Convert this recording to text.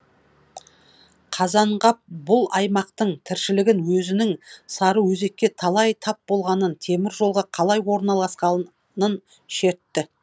қазанғап бұл аймақтың тіршілігін өзінің сарыөзекке қалай тап болғанын темір жолға қалай орналасқанын шертті